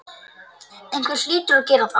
Einhver hlýtur að gera það.